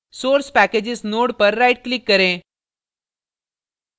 source packages node पर right click करें